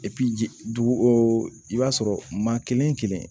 ji dugu o i b'a sɔrɔ maa kelen kelen